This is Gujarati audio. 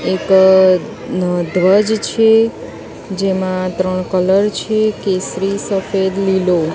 એક અ અ ધ્વજ છે જેમાં ત્રણ કલર છે કેસરી સફેદ લીલો.